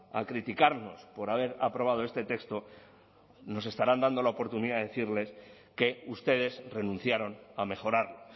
a criticarnos por haber aprobado este texto nos estarán dando la oportunidad de decirles que ustedes renunciaron a mejorarlo